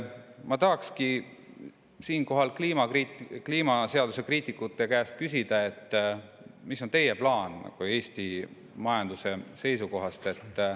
Ma tahan siinkohal kliimaseaduse kriitikute käest küsida, mis on teie plaan Eesti majanduse seisukohast.